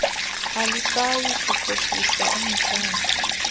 alisayi kukhohlisa umthathi